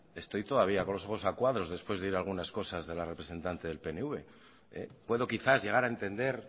estoy todavía con los ojos a cuadros después de oír algunas cosas de la representante del pnv puedo quizás llegar a entender